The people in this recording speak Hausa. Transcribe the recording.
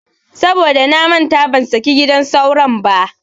Saboda namanta ban saki gidan sauro ba.